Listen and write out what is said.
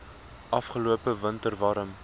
afgelope winter warm